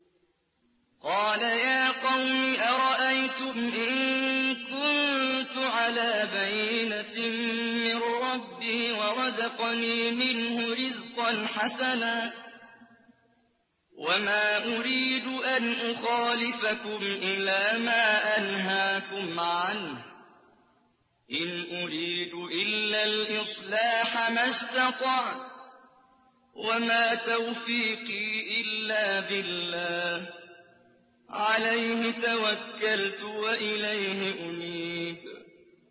قَالَ يَا قَوْمِ أَرَأَيْتُمْ إِن كُنتُ عَلَىٰ بَيِّنَةٍ مِّن رَّبِّي وَرَزَقَنِي مِنْهُ رِزْقًا حَسَنًا ۚ وَمَا أُرِيدُ أَنْ أُخَالِفَكُمْ إِلَىٰ مَا أَنْهَاكُمْ عَنْهُ ۚ إِنْ أُرِيدُ إِلَّا الْإِصْلَاحَ مَا اسْتَطَعْتُ ۚ وَمَا تَوْفِيقِي إِلَّا بِاللَّهِ ۚ عَلَيْهِ تَوَكَّلْتُ وَإِلَيْهِ أُنِيبُ